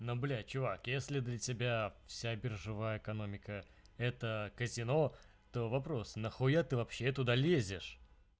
ну блядь человек если для тебя вся биржевая экономика это казино то вопрос нахуя ты вообще туда лезешь